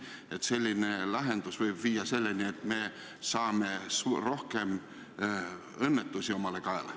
–, et selline lahendus võib viia selleni, et me saame rohkem õnnetusi kaela.